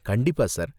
கண்டிப்பா சார்.